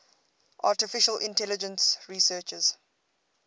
artificial intelligence researchers